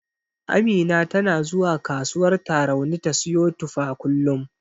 Amina tana zuwa kasuwar Tarauni ta siyo tufa kullum.